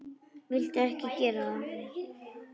Viltu ekki gera það!